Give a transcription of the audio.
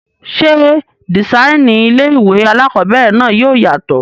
Ṣé dìsáínì ilé-ìwé alákobẹ̀rẹ̀ náà yóò yàtọ̀?